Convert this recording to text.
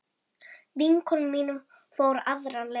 Vinkona mín fór aðra leið.